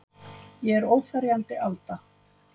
Ég er óferjandi Alda.